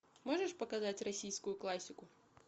можешь показать российскую классику